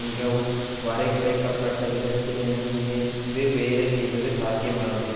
மிகவும் வரைகுறைக்கபட்ட விதத்திலேனும் இணைந்து வேலை செய்வது சாத்தியமானதே